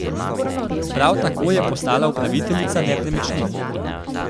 Prav tako je postala upraviteljica nepremičnin.